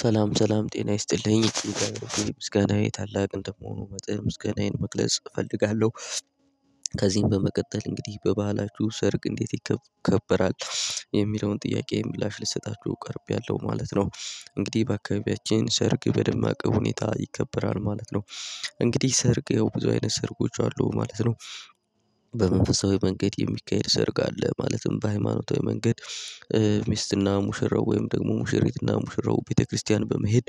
ሰላም ሰላም ጤና ይስጥልኝ ምስጋናዬ ታላቅ እንደመሆኑ መጥል ምስጋናዬን መግለጽ እፈልጋለሁ። ከዚህም በመቀጠል እንግዲህ በባህላችሁ ሰርግ እንዴት ይከበራል? የሚለውን ጥያቄ ምላሽ ልሰጣችሁ ቀርቤያለሁ ማለት ነው። እንግዲህ በአካባቢያችን ሰርግ በደማቅ ሁኔታ ይከበራል ማለት ነው። እንግዲህ ሰርግ ያው ብዙ አይነት ሰርጎች አሉ ማለት ነው። በመንፈሳዊ መንገድ የሚካሄድ ሰርግ አለ። ማለትም በሃይማኖታዊ መንገድ። ሚስትና ሙሽራው ወይም ደግሞ ሙሽሪትና ሙሽራው ቤተክርስቲያን በመሄድ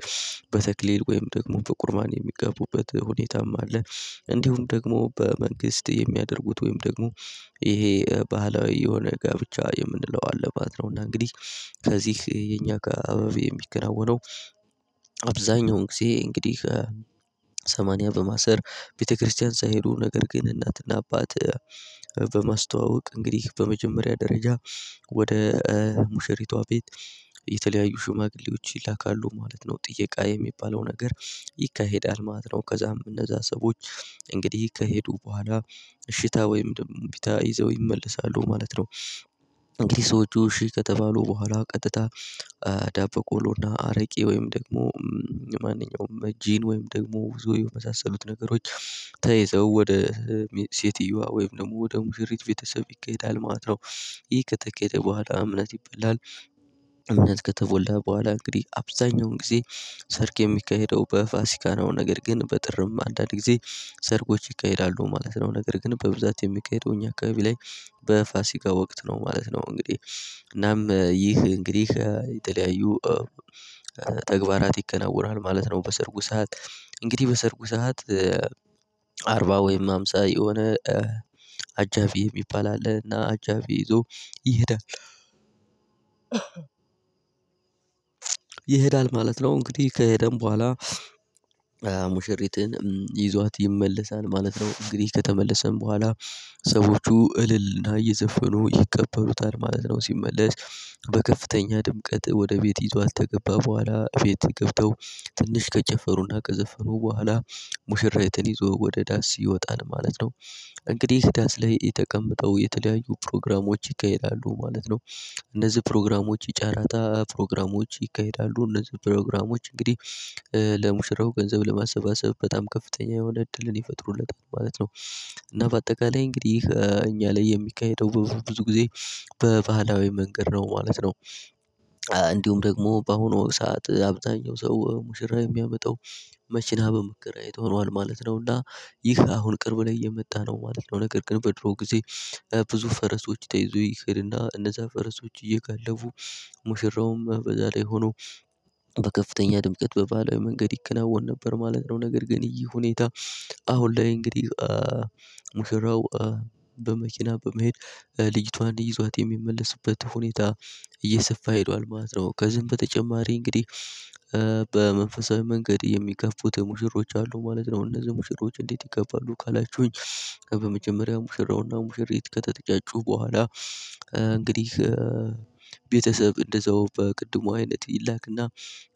በተክሌል ወይም ደግሞ በቁርባን የሚጋቡበት ሁኔታም አለ። እንዲሁም ደግሞ በመንግስት የሚያደርጉት ወይም ደግሞ ይሄ ባህላዊ የሆነ ጋብቻ የምንለው አለ ማለት ነው። እና እንግዲህ ከዚህ የኛ አካባቢ የሚከናወነው። አብዛኛውን ጊዜ እንግዲህ ሰማንያ በማሰር ቤተክርስቲያን ሳይሄዱ ነገር ግን እናትና አባት። በማስተዋወቅ እንግዲህ በመጀመሪያ ደረጃ ወደ ሙሽሪቷ ቤት የተለያዩ ሽማግሌዎች ይላካሉ ማለት ነው ጥየቃ የሚባለው ነገር። ይካሄዳል ማለት ነው። ከዛም እነዛ ሰዎች እንግዲህ ከሄዱ በኋላ እሺታ ወይም ደግሞ እምቢታ ይዘው ይመለሳሉ ማለት ነው። እንግዲህ ሰዎቹ እሺ ከተባሉ በኋላ ቀጥታ ዳበቆሎና አረቄ ወይም ደግሞ ማንኛውም ጠጂን ወይም ደግሞ ብዙ የመሳሰሉት ነገሮች ተይዘው ወደ ሴትየዋ ወይም ደግሞ ወደ ሙሽሪት ቤተሰብ ይከሄዳል ማለት ነው። ይህ ከተኬደ በኋላ እምነት ይባላል። እምነት ከተበላ በኋላ እንግዲህ አብዛኛውን ጊዜ ሰርግ የሚካሄደው በፋሲካ ነው። ነገር ግን በጥርም አንዳንድ ጊዜ ሰርጎች ይካሄዳሉ ማለት ነው። ነገር ግን በብዛት የሚካሄደው እኛ አካባቢ ላይ በፋሲካ ወቅት ነው ማለት ነው። እንግዲህ እናም ይህ እንግዲህ የጠለያዩ ተግባራት ይከናወናል ማለት ነው። በሰርጉ ሰዓት እንግዲህ በሰርጉ ሰዓት አርባ ወይም ሃምሳ የሆነ አጃቢ የሚባል አለ እና አጃቢ ይዞ ይሄዳል። ይሄዳል ማለት ነው። እንግዲህ ከሄደም በኋላ ሙሽሪትን ይዟት ይመለሳል ማለት ነው። እንግዲህ ከተመለሰን በኋላ ሰዎቹ እልል እየዘፈኑ ይቀበሉታል ማለት ነው። ሲመለስ በከፍተኛ ድምቀት ወደ ቤት ይዟት ከገባ በኋላ ቤት ገብተው ትንሽ ከጨፈሩና ከዘፈኑ በኋላ ሙሽራዬቱን ይዞ ወደ ዳስ ይወጣል ማለት ነው። እንግዲህ ዳስ ላይ የተቀመጠው የተለያዩ ፕሮግራሞች ይካሄዳሉ ማለት ነው። እነዚህ ፕሮግራሞች የጨረታ ፕሮግራሞች ይካሄዳሉ እነዚህ ፕሮግራሞች እንግዲህ ለሙሽራው ገንዘብ ለማሰባሰብ በጣም ከፍተኛ የሆነ እድልን ይፈጥሩለታል ማለት ነው። እና በአጠቃላይ እንግዲህ እኛ ላይ የሚካሄደው በብዙ ጊዜ በባህላዊ መንገድ ነው ማለት ነው። እንዲሁም ደግሞ በአሁኑ ሰዓት አብዛኛው ሰው ሙሽራ የሚያመጣው መኪና በመከራየት ሆኗል ማለት ነው። እና ይህ አሁን ቅርብ ላይ የመጣ ነው ማለት ነው። ነገር ግን በድሮ ጊዜ ብዙ ፈረሶች ተይዞ ይኬድና እነዛ ፈረሶች እየጋለቡ ሙሽራውም በዛ ላይ ሆኖ በከፍተኛ ድምቀት በባህላዊ መንገድ ይከናወን ነበር ማለት ነው። ነገር ግን ይሄ ሁኔታ አሁን ላይ እንግዲህ ሙሽራው በመኪና በመሄድ ልጅቷን ይዟት የሚመለስበት ሁኔታ እየሰፋ ሄዷል ማለት ነው። ከዚህም በተጨማሪ እንግዲህ በመንፈሳዊ መንገድ የሚከፉት ሙሽሮች አሉ ማለት ነው። እነዚህ ሙሽሮች እንዴት ይከፋሉ ካላችሁኝ? በመጀመሪያ ሙሽራውና ሙሽሪት ከተጨጫጩ በኋላ እንግዲህ ቤተሰብ እንደዛው በቅድሙ አይነት ይላክና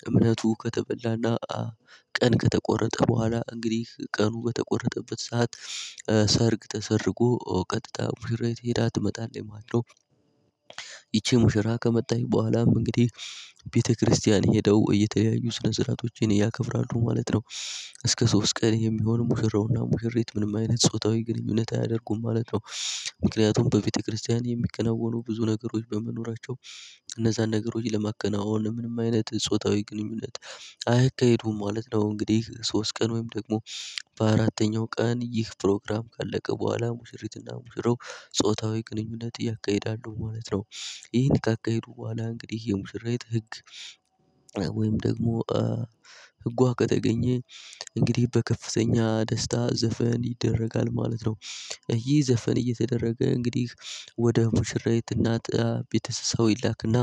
እምነቱ ከተበላና ቀን ከተቆረጠ በኋላ እንግዲህ ቀኑ በተቆረጠበት ሰዓት ሰርግ ተሰርጎ ቀጥታ ሙሽራ ሄዳ ትመጣለች ማለት ነው። ይቺ ሙሽራ ከመጣች በኋላ እንግዲህ ቤተክርስቲያን ሄደው እየተያዩ ስነ ስርዓቶችን ያከብራሉ ማለት ነው። እስከ ሶስት ቀን የሚሆን ሙሽራውና ሙሽሪት ምንም አይነት ጾታዊ ግንኙነት አያደርጉም ማለት ነው። ምክንያቱም በቤተክርስቲያን የሚከነወኑ ብዙ ነገሮች በመኖራቸው እነዛን ነገሮች ለማከናወን ምንም አይነት ጾታዊ ግንኙነት አያካሂዱም ማለት ነው። እንግዲህ ሶስት ቀን ወይም ደግሞ በአራተኛው ቀን ይህ ፕሮግራም ካለቀ በኋላ ሙሽሪትና ሙሽራው ጾታዊ ግንኙነት ያካሄዳለሁ ማለት ነው። ይህን ካካሄዱ በኋላ እንግዲህ የሙሽራይት ህግ ወይም ደግሞ ህጓ ከተገኘ በከፍተኛ ደስታ ዘፈን ይደረጋል ማለት ነው። ይህ ዘፈን እየተደረገ እንግዲህ ወደ ሙሽራይት እናት ቤተሰቡ ይላክና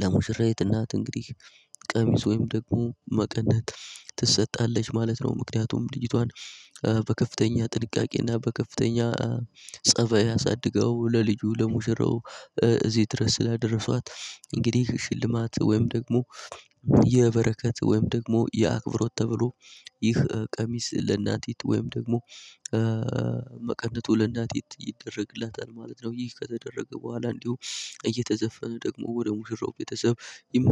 ለሙሽራይት እናት እንግዲህ ቀሚስ ወይም ደግሞ መቀነት ትሰጣለች ማለት ነው። ምክንያቱም ልጂቷን በከፍተኛ ጥንቃቄና በከፍተኛ ፀባይ አሳድጋው ለልጁ ለሙሽራው እዚህ ድረስ ስላደረሷት እንግዲህ ሽልማት ወይም ደግሞ የበረከት ወይም ደግሞ የአክብሮት ተብሎ ይህ ቀሚስ ለእናቲት ወይም ደግሞ መቀነቱ ለእናቲት ይደረግለታል ማለት ነው። ይህ ከተደረገ በኋላ እንዲሁ እየተዘፈነ ደግሞ ወደ ሙሽራው ቤተሰብ